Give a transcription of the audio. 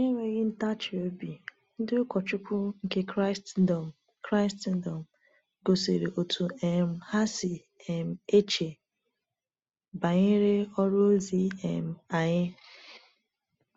Na-enweghị ntachi obi, ndị ụkọchukwu nke Kraịstndọm Kraịstndọm gosiri otú um ha si um eche banyere ọrụ ozi um anyị.